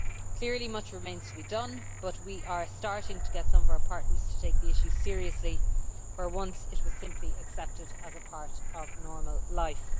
Clearly, much remains to be done, but we are starting to get some of our partners to take the issue seriously where once it was simply accepted as a part of normal life.